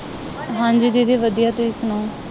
ਹਾਂਜੀ ਦੀਦੀ ਵਧੀਆ ਤੁਸੀਂ ਸੁਣਾਉ